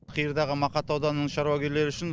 қиырдағы мақат ауданының шаруагерлері үшін